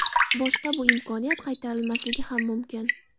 Boshqa bu imkoniyat qaytarilmasligi ham mumkin!